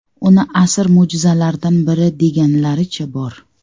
Uni asr mo‘jizalaridan biri deganlaricha bor.